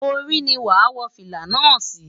Orí ni wàá wọ fìlà náà sí.